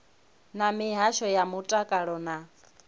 na mihasho ya mutakalo na